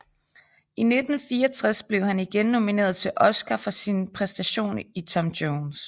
I 1964 blev han igen nomineret til Oscar for sin præstation i Tom Jones